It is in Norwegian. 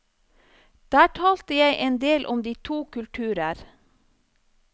Der talte jeg en del om de to kulturer.